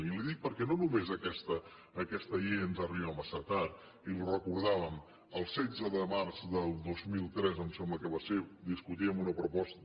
i li ho dic perquè no només aquesta llei ens arriba massa tard i ho recordàvem el setze de març del dos mil tres em sembla que va ser discutíem una proposta